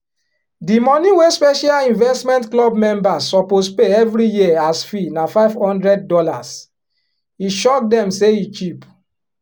di money wey special investment club members suppose pay every year as fee na five hundred dollars e shock dem say e cheap.